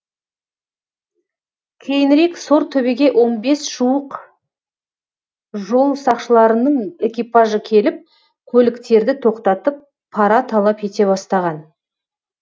кейінірек сортөбеге он бес жуық жол сақшыларының экипажы келіп көліктерді тоқтатып пара талап ете бастаған